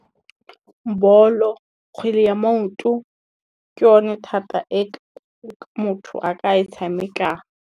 Bolo, kgwele ya maoto ke yone thata motho a ka e tshamekang.